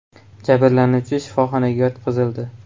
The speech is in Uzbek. Jabrlanuvchi shifoxonaga yotqizildi.